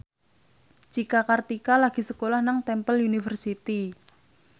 Cika Kartika lagi sekolah nang Temple University